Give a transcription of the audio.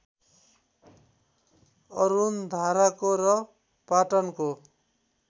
अरुणधाराको र पाटनको